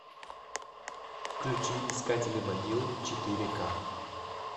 включи искатели могил четыре к